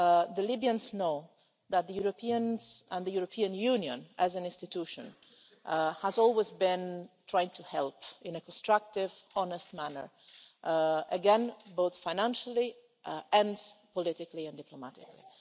the Libyans know that the Europeans, and the European Union as an institution, have always been trying to help in a constructive, honest manner, again, both financially, politically and diplomatically.